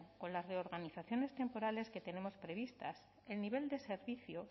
con las reorganizaciones temporales que tenemos previstas el nivel de servicio